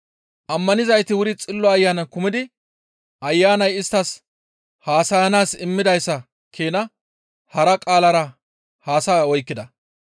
Ammanizayti wuri Xillo Ayanan kumidi Ayanay isttas haasayanaas immidayssa keena hara qaalara haasaya oykkida.